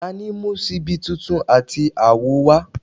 tani mu ṣibi titun ati awo wa?